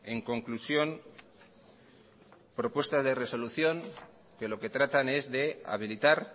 en conclusión propuestas de resolución que lo que tratan es de habilitar